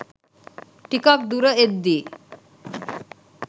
ටිකක් දුර එද්දී